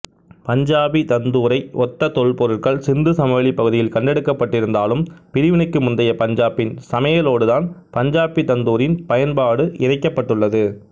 பஞ்சாபி தந்தூரை ஒத்த தொல்பொருட்கள் சிந்து சமவெளிப்பகுதியில் கண்டெடுக்கப்பட்டிருந்தாலும் பிரிவினைக்கு முந்தைய பஞ்சாபின் சமையலோடுதான் பஞ்சாபி தந்தூரின் பயன்பாடு இணைக்கப்பட்டுள்ளது